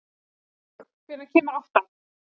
Sólbjörg, hvenær kemur áttan?